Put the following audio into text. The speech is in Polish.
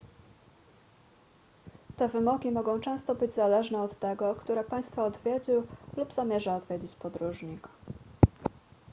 te wymogi mogą często być zależne od tego które państwa odwiedził lub zamierza odwiedzić podróżnik